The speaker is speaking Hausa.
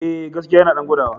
E, gaskiya yana ɗan gwadawa.